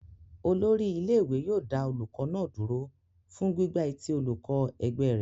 Olórí ilé-ìwé yóò dá olùkọ́ náà dúró fún gbígbá etí olùkọ́ ẹgbẹ́ rẹ̀.